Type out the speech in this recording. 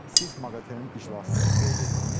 Siz MAQATE-nin iclasını qeyd etdiniz.